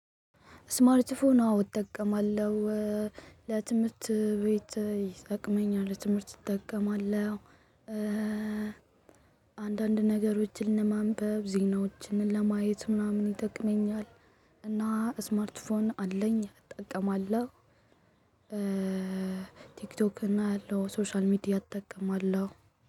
ስማርት ፎን አወ እጠቀማለሁ ለትምህርት ቤት ይጠቅመኛል ለትምህርት እጠቀማለሁ። አንዳንድ ነገሮችን ለማንበብ ዜናዎችን ለማየት ምናምን ይጠቅመኛል። እና ስማርትፎን አለኝ እጠቀማለሁ። ቲክቶክ እና አያለው ሶሻል ሚዲያ እጠቀማለሁ።